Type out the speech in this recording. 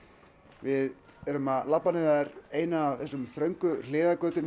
við erum að labba niður eina af þessum þröngu hliðargötum